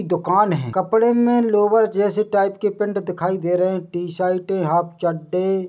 दुकान है कपड़े में लोवर जैसी टाइप की पैंट दिखाई दे रही है टी-शर्टे है हाफ चड्डे--